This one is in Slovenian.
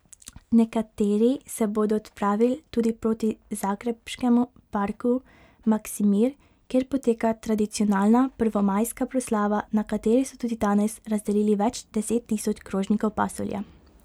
Nekateri se bodo odpravil tudi proti zagrebškemu parku Maksimir, kjer poteka tradicionalna prvomajska proslava, na kateri so tudi danes razdelili več deset tisoč krožnikov pasulja.